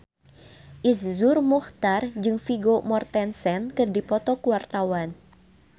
Iszur Muchtar jeung Vigo Mortensen keur dipoto ku wartawan